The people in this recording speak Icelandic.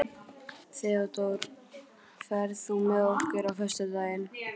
Theódór, ferð þú með okkur á föstudaginn?